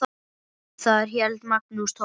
Þar hélt Magnús Torfi